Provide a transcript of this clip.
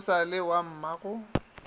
o sa le wa mmago